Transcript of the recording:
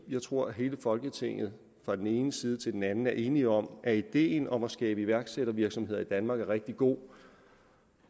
jeg tror at hele folketinget fra den ene side til den anden er enige om at ideen om at skabe iværksættervirksomheder i danmark er rigtig god